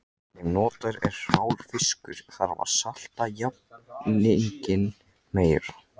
Ef notaður er hrár fiskur þarf að salta jafninginn meira.